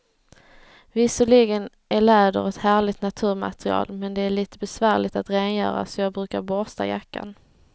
Visserligen är läder ett härligt naturmaterial, men det är lite besvärligt att rengöra, så jag brukar borsta jackan.